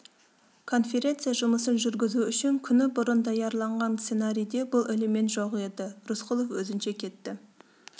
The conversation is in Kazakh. конференция жұмысын жүргізу үшін күні бұрын даярланған сценарийде бұл элемент жоқ еді рысқұлов өзінше кетті